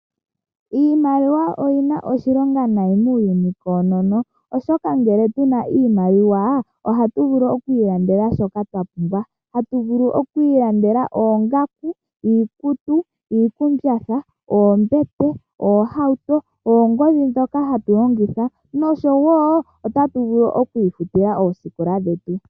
Iimaliwa oyina oshilonga nayi muuyuni koonono oshoka ngele tuna iimaliwa ohatu vulu okwiilandela shoka twa pumbwa. Hatu vulu okwiilandela oongaku, iikutu, iikumbatha, oombete, oohauto, oongodhi dhoka hatu longitha. Nosho wo otatu vulu okwiifutila oosikola dhetu.